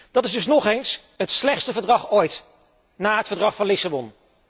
Dit is dus ook nog eens het slechtste verdrag ooit na het Verdrag van Lissabon.